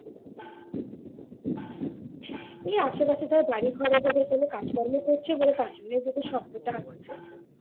এই আশেপাশে ধর বাড়িঘরে এভাবে কাজকর্ম করছে বলে বাইরে থেকে শব্দটা আসছে